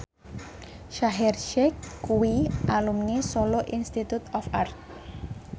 Shaheer Sheikh kuwi alumni Solo Institute of Art